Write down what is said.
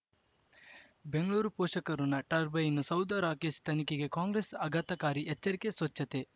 ಬೆಂಗಳೂರು ಪೋಷಕರಋಣ ಟರ್ಬೈನು ಸೌಧ ರಾಕೇಶ್ ತನಿಖೆಗೆ ಕಾಂಗ್ರೆಸ್ ಆಘಾತಕಾರಿ ಎಚ್ಚರಿಕೆ ಸ್ವಚ್ಛತೆ